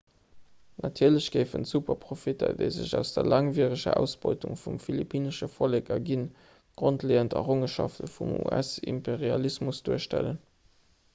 natierlech géifen d'superprofitter déi sech aus der laangwiereger ausbeutung vum philippinnesche vollek erginn d'grondleeënd errongenschafte vum us-imperialismus duerstellen